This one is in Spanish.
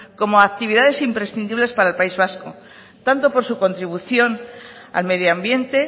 como actividades imprescindibles para el país vasco tanto por su contribución al medio ambiente